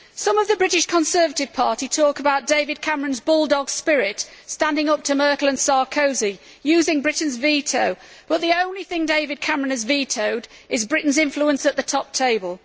Some of the British Conservative Party talk about David Cameron's bulldog spirit standing up to Merkel and Sarkozy, using Britain's veto but the only thing David Cameron has vetoed is Britain's influence at the top table.